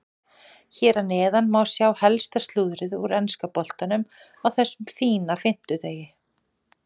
Hér að neðan má sjá helsta slúðrið úr enska boltanum á þessum fína fimmtudegi.